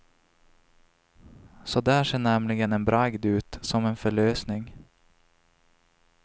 Så där ser nämligen en bragd ut, som en förlösning.